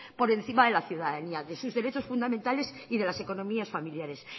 por encima de la ciudadanía de sus derechos fundamentales y de las economías familiares